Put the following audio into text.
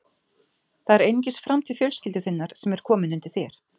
Það er einungis framtíð fjölskyldu þinnar sem er komin undir þér.